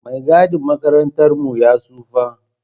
Mai gadin makarantar mu ya tsofa